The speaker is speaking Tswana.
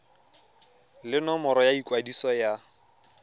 le nomoro ya ikwadiso ya